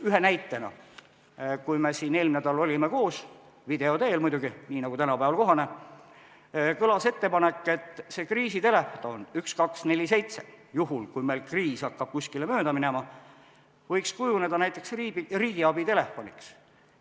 Ühe näitena: kui me eelmine nädal olime koos – video teel muidugi, nii nagu tänapäeval kohane –, kõlas ettepanek, et kriisitelefon 1247, kui meil kriis hakkab mööda minema, võiks kujuneda näiteks riigiabitelefoniks.